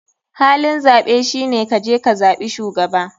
Halin zaɓe shine kaje kazaɓi shugaba.